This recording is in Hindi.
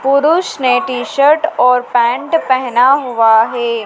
पुरुष ने टी-शर्ट और पेंट पहना हुआ है।